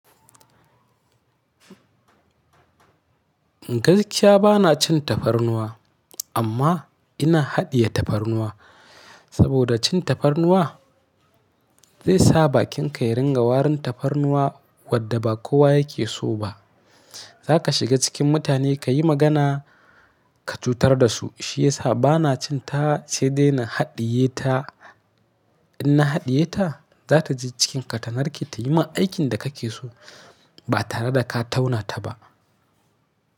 Gaskiya bana cin tafarnuwa amma ina haɗiye tafarnuwa saboda cin tafarnuwa zai sa bakinka ya ringa warin tafarnuwa wadda ba kowa yake so ba. Za ka shiga cikin mutane ka yi magana, ka cutar da su. Shi ya sa bana cin ta sai dai ina haɗiye ta. In na haɗiye ta, za ta je cikinka ta narke ta yi ma aikin da ka ke so ba tare da ka tauna ta ba.